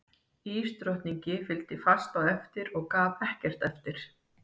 Ísdrottningi fylgdi fast á eftir og gaf ekkert eftir.